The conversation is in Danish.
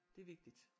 Det er vigtigt